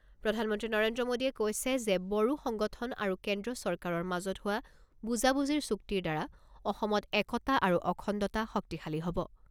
প্ৰধানমন্ত্ৰী নৰেন্দ্ৰ মোদীয়ে কৈছে যে, বড়ো সংগঠন আৰু কেন্দ্ৰীয় চৰকাৰৰ মাজত হোৱা বুজাবুজিৰ চুক্তিৰ দ্বাৰা অসমৰ একতা আৰু অখণ্ডতা শক্তিশালী হ'ব।